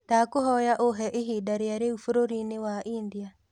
ndakũhoya uhe ĩhĩnda rĩa riu bururi ni wa india